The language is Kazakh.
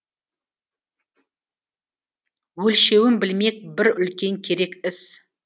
өлшеуін білмек бір үлкен керек іс